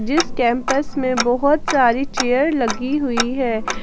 जिस कैंपस में बहुत सारी चेयर लगी हुई है।